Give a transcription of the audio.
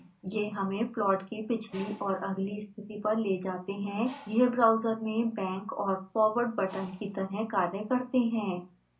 यह हमें प्लॉट की पिछली और अगली स्थिति पर ले जाते हैं यह ब्राउजर में बैक और फारवर्ड बटन की तरह कार्य करते हैं